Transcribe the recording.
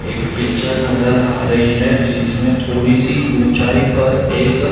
एक पिक्चर नजर आ रही है जिसमें थोड़ी सी ऊंचाई पर एक--